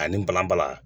Ani balanbala